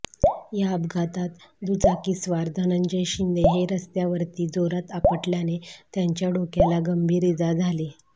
या अपघातात दुचाकीस्वार धनंजय शिंदे हे रस्त्यावरती जोरात आपटल्याने त्याच्या डोक्याला गंभीर इजा झाली